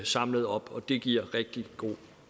samlet op og det giver rigtig god